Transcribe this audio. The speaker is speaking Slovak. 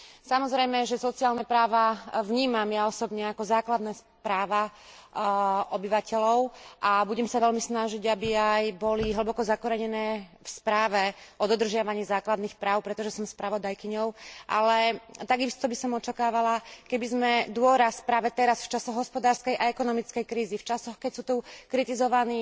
Samozrejme, že sociálne práva vnímam ja osobne ako základné práva obyvateľov a budem sa veľmi snažiť, aby aj boli hlboko zakorenené v správe o dodržiavaní základných práv, pretože som spravodajkyňou, ale takisto by som očakávala, keby sme dôraz práve teraz, v čase hospodárskej a ekonomickej krízy, v časoch, keď sú tu kritizovaní